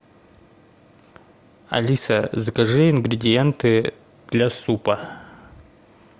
алиса закажи ингредиенты для супа